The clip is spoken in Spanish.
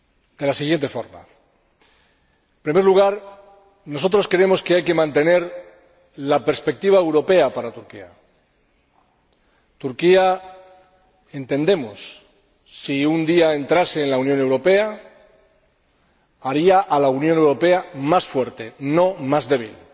de la siguiente forma En primer lugar, nosotros creemos que hay que mantener la perspectiva europea para Turquía. Entendemos que Turquía, si un día entrase en la Unión Europea, haría a la Unión Europea más fuerte, no más débil.